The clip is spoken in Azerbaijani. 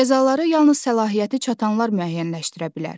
Cəzaları yalnız səlahiyyəti çatanlar müəyyənləşdirə bilər.